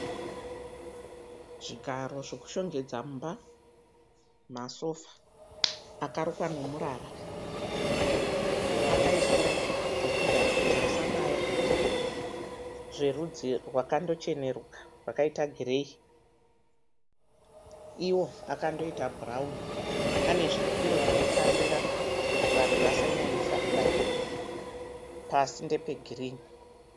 Zvigaro zvokushongedza mumba masofa akarukwa nemurara akaiswa zvekugara kuti asabaya zverudzi rwakandochenuruka rwakaita gireyi iwo akandoita bhurauni ane zvipiro zvekutsamira kuti vanhu vasanyanyisa kubayiwa pasi ndepegirini.